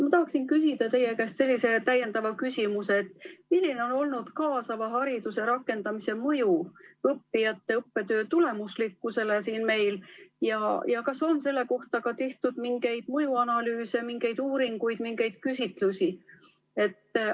Ma tahaksin aga küsida teie käest sellise täiendava küsimuse: milline on olnud kaasava hariduse rakendamise mõju õppijate õppetöö tulemuslikkusele ja kas selle kohta on tehtud ka mingeid mõjuanalüüse, mingeid uuringuid või mingeid küsitlusi?